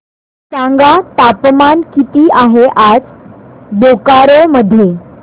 सांगा तापमान किती आहे आज बोकारो मध्ये